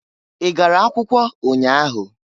I gara akwụkwọ ụnya ahụ?